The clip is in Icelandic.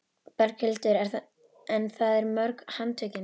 Berghildur: En það eru mörg handtökin?